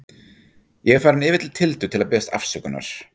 Ég er farinn yfir til Tildu til að biðjast afsökunar.